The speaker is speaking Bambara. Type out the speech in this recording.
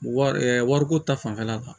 Wari wariko ta fanfɛla kan